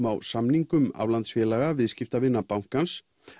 á samningum aflandsfélaga viðskiptavina bankans